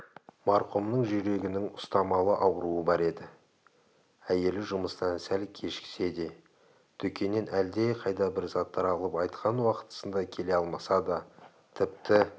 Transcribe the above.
марқұмның жүрегінің ұстамалы ауруы бар еді әйелі жұмыстан сәл кешіксе де дүкеннен әлдеқайда бір заттар алып айтқан уақытысында келе алмаса да тіпті